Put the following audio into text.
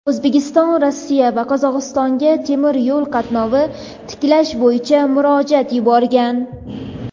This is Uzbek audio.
O‘zbekiston Rossiya va Qozog‘istonga temir yo‘l qatnovini tiklash bo‘yicha murojaat yuborgan.